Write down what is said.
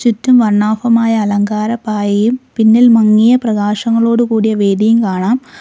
ചുറ്റും വർണ്ണാഭമായ അലങ്കാര പായയും പിന്നിൽ മങ്ങിയ പ്രകാശങ്ങളോടുകൂടിയ വേദിയും കാണാം.